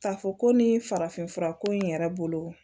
K'a fɔ ko nin farafinfura ko in yɛrɛ bolo